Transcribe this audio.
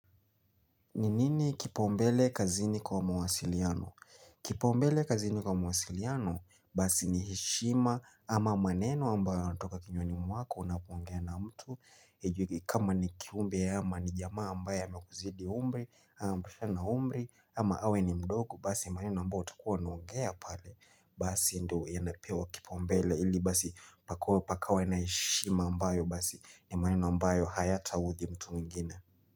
N inini kipaumbele kazini kwa mawasiliano? Kipaumbele kazini kwa mawasiliano basi ni heshima ama maneno ambayo yanatoka kinywani mwako unapongea na mtu Ejugi kama ni kiumbe ama ni jamaa ambaye amekuzidi umri, ama mnatoshana umri ama awe ni mdogo basi maneno ambayo utakuwa unaongea pale Basi ndio yanapewa kipaumbele ili basi pakowe pakawe na heshima ambayo basi ni maneno ambayo hayataudhi mtu mwingine.